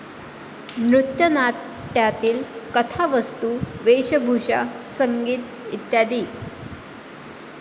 नृत्यनाट्यातील कथावस्तू, वेशभूषा, संगीत इ.